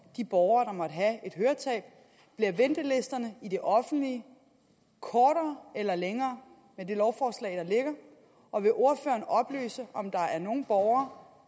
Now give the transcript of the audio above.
de borgere der måtte have et høretab bliver ventelisterne i det offentlige kortere eller længere med det lovforslag der ligger og vil ordføreren oplyse om der er nogen borgere